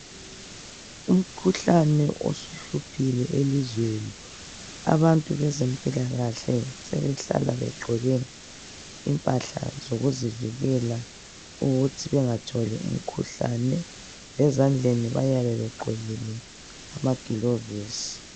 Umkhuhlane osuhluphile elizweni. Abantu bezempilakahle sebehlala begqoke impahla zokuzivikela ukuthi bengatholi umkhuhlane .Ezandleni bayabe bqgqokile amagilovisi.